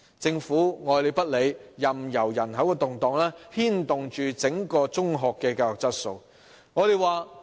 政府愛理不理，任由人口動盪牽動整體中學教育的質素。